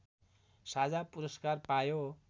साझा पुरस्कार पायो